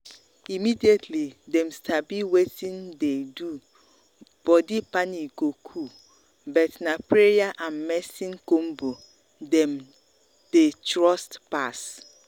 immediately dem um sabi wetin um dey do body panic go cool but na prayer and medicine combo dem dey trust um pass.